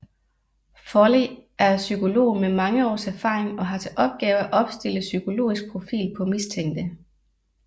Foley er psykolog med mange års erfaring og har til opgave at opstille psykologisk profil på mistænkte